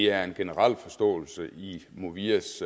er en generel forståelse i movias